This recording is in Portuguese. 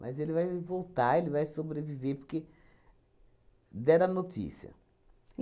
Mas ele vai voltar, ele vai sobreviver, porque deram a notícia.